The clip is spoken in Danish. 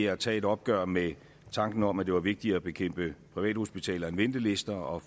at tage et opgør med tanken om at det var vigtigere at bekæmpe privathospitaler end ventelister og